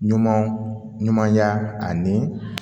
Ɲuman ɲumanya ani